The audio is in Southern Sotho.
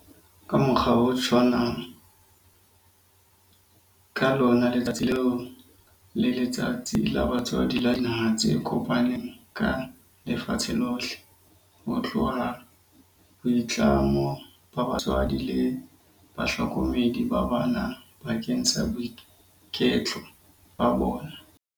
Ka mokgwa o tshwanang, ka lona letsatsi leo ke Letsatsi la Batswadi la Dinaha tse Kopaneng ka Lefatshe lohle, ho tlotla boitlamo ba batswadi le bahlokomedi ba bana bakeng sa boiketlo ba bona.